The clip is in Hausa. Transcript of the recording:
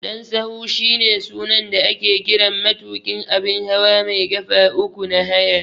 Dan sahu shine sunan da ake kiran matuƙin abun hawa mai ƙafa uku na haya.